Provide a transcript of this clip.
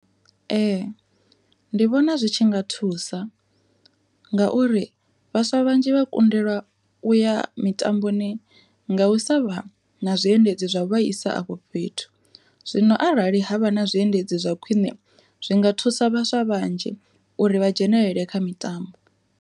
Ee ndi vhona zwi tshi nga thusa, nga uri vhaswa vhanzhi vha kundelwa u ya mitamboni nga u sa vha na zwiendedzi zwa u vhaisa afho fhethu, zwino arali havha na zwiendedzi zwa khwiṋe zwi nga thusa vhaswa vhanzhi uri vha dzhenelele kha mitambo.